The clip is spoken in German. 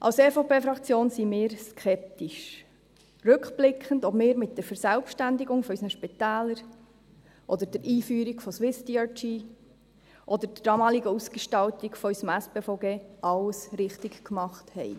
– Als EVP-Fraktion sind wir rückblickend skeptisch, ob wir mit der Verselbstständigung unserer Spitäler, der Einführung von SwissDRG und der damaligen Ausgestaltung unseres SpVG alles richtiggemacht haben.